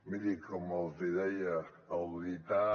miri com els deia auditar